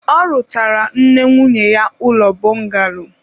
ọ rụtaara nne nwunye ya ụlọ bọngalo